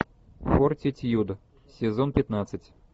фортитьюд сезон пятнадцать